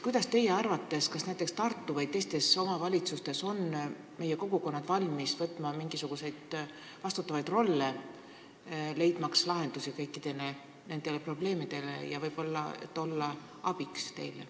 Kuidas teie arvate, kas näiteks Tartus või teistes omavalitsustes on kogukonnad valmis võtma vastutavat rolli, et leida lahendusi kõikidele nendele probleemidele ja võib-olla olla teile abiks?